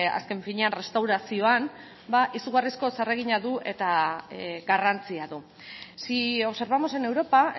azken finean errestaurazioan ba izugarrizko zeregina du eta garrantzia du si observamos en europa